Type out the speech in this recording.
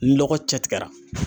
Lɔgɔ cɛ tigɛra.